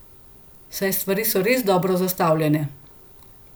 Saj stvari so res dobro zastavljene!